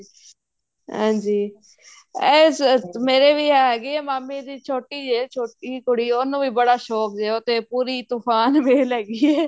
ਹਾਂਜੀ ਇਸ ਚ ਮੇਰੇ ਵੀ ਹੈਗੇ ਏ ਮਾਮੇਂ ਦੀ ਛੋਟੀ ਏ ਛੋਟੀ ਕੁੜੀ ਉਹਨੂੰ ਵੀ ਬੜਾ ਸ਼ੋਂਕ ਏ ਉਹ ਤੇ ਪੂਰੀ ਤੂਫ਼ਾਨ ਵੇਲ ਹੈਗੀ ਏ